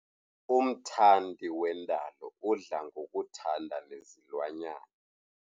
Umthandi wendalo udla ngokuthanda nezilwanyana.